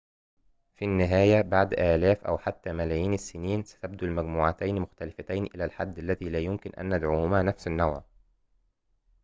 في النهاية بعد آلاف أو حتى ملايين السنين ستبدو المجموعتين مختلفتين إلى الحد الذي لا يمكن أن ندعوهما نفس النوع